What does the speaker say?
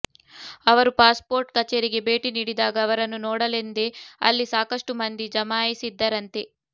ಅವರು ಪಾಸ್ಪೋರ್ಟ್ ಕಚೇರಿಗೆ ಭೇಟಿ ನೀಡಿದಾಗ ಅವರನ್ನು ನೋಡಲೆಂದೇ ಅಲ್ಲಿ ಸಾಕಷ್ಟು ಮಂದಿ ಜಮಾಯಿಸಿದ್ದರಂತೆ